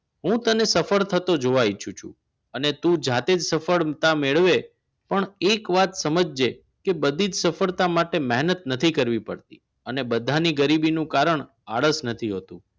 હું તને સફળ થતો જોવાય ઈચ્છું છું અને તો જાતે જ સફળતા મેળવે પણ એક વાત સમજજે પણ બધી જ સફળતા માટે મહેનત નથી કરવી પડતી અને બધા ની ગરીબીનું કારણ આળસ નથી હોતી